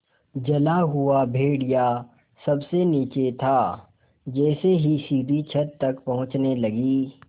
जला हुआ भेड़िया सबसे नीचे था जैसे ही सीढ़ी छत तक पहुँचने लगी